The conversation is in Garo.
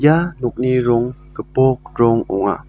ia nokni rong gipok rong ong·a.